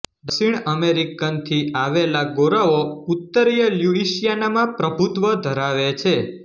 દક્ષિણ અમેરિકનથી આવેલા ગોરાઓ ઉત્તરીય લ્યુઇસિયાનામાં પ્રભુત્ત્વ ધરાવે છે